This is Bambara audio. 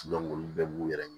olu bɛɛ b'u yɛrɛ ɲe